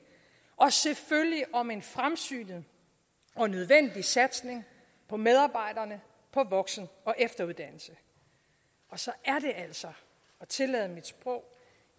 og selvfølgelig om en fremsynet og nødvendig satsning på medarbejderne på voksen og efteruddannelse og så er det altså og tillad mit sprog